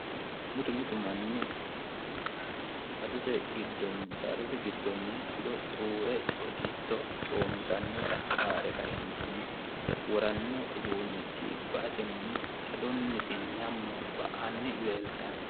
Mittu mittu manni saadate giddoni ado xuure coitto comitanotta haare kae'enitini woranno uddunichi ba'atteni adonniti nyamo ba'anni leelittano